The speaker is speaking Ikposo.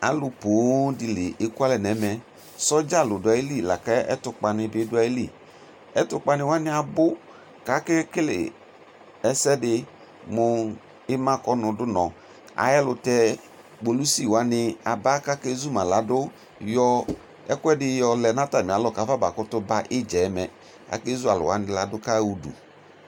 Alʋ poobdini le kʋalɛ nʋ ɛmɛ sɔdza nʋ ɛtʋkpa ni bi dʋ ayili ɛtʋkpani wani abʋ kakele ɛsɛ di mʋ ima kɔnʋ dʋnɔ ay ɛlʋtɛ kpolʋsi wani aba kʋ ake zuma ladʋ yɔ ɛkʋedi yɔlɛ nʋ atami alɔ kafam kʋtʋ ba idzɛmɛ kake zʋ alʋ wani ladʋ kaɣa ʋdʋ